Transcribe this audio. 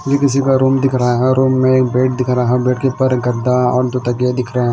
ये किसी का रूम दिख रहा है। अर रूम में एक बेड दिख रहा। हर बेड के ऊपर एक गद्दा और दो तकिए दिख रहें--